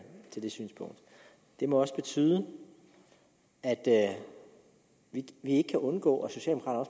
til det synspunkt det må også betyde at vi ikke kan undgå